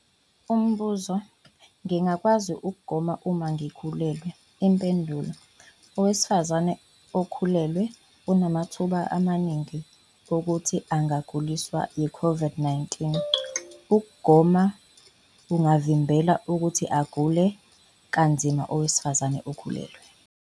Umbuzo- Ngingakwazi ukugoma uma ngikhulelwe? Impendulo- Owesifazane okhulelwe unamathuba amaningi okuthi angaguliswa yi-COVID-19. Ukugoma kungavimbela ukuthi agule kanzima owesifazane okhulelwe.